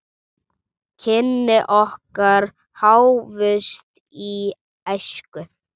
Kynni okkar hófust í æsku.